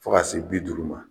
Fɔ ka se bi duuru ma.